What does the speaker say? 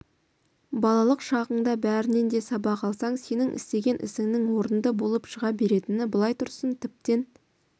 балалық шағыңда бәрінен де сабақ алсаң сенің істеген ісіңнің орынды болып шыға беретіні былай тұрсын тіптен